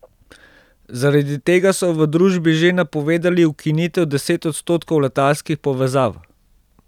Zaradi tega so v družbi že napovedali ukinitev deset odstotkov letalskih povezav.